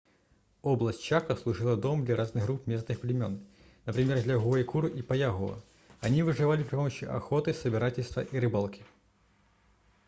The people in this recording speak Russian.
область чако служила домом для разных групп местных племен например для гуайкуру и паягуа они выживали при помощи охоты собирательства и рыбалки